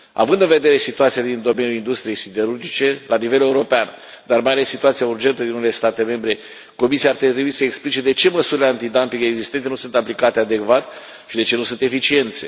Având în vedere situația din domeniul industriei siderurgice la nivel european, dar mai ales situația urgentă din unele state membre, Comisia ar trebui să explice de ce măsurile antidumping existente nu sunt aplicate adecvat și de ce nu sunt eficiente.